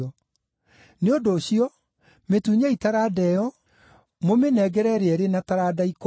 “ ‘Nĩ ũndũ ũcio, mĩtunyei taranda ĩyo, mũmĩnengere ũrĩa ũrĩ na taranda ikũmi.